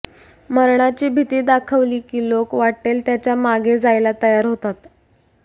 मरणाची भीती दाखवली की लोक वाट्टेल त्याच्या मागे जायला तयार होतात